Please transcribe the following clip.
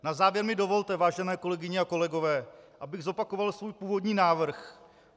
Na závěr mi dovolte, vážené kolegyně a kolegové, abych zopakoval svůj původní návrh.